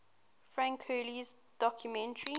frank hurley's documentary